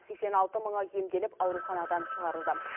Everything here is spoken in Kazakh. сексен алты мыңы емделіп ауруханадан шығарылды